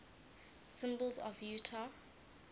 symbols of utah